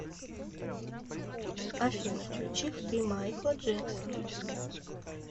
афина включи хты майкла джексона